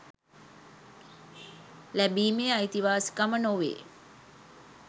ලැබීමේ අයිතිවාසිකම නොවේ